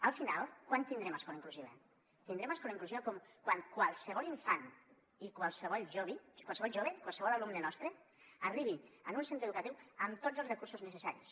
al final quan tindrem escola inclusiva tindrem escola inclusiva quan qualsevol infant i qualsevol jove qualsevol alumne nostre arribi a un centre educatiu amb tots els recursos necessaris